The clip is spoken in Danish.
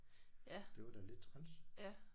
Det var da lidt træls